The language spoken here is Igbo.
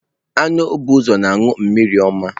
Anụ bụ ụzọ na anụ mmiri ọma.